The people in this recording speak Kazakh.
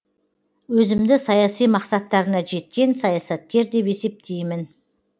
өзімді саяси мақсаттарына жеткен саясаткер деп есептеймін